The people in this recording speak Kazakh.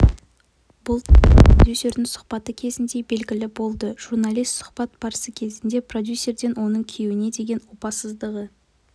бұл туралы продюсердің сұхбаты кезінде белгілі болды журналист сұхбат барысы кезінде продюсерден оның күйеуіне деген опаздығы